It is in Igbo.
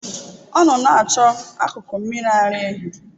Ọ nọ na-achọ akụkụ mmiri ara ehi.